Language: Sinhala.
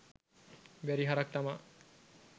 බැරි හරක් තමා